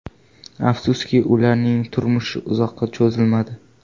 Afsuski, ularning turmushi uzoqqa cho‘zilmadi.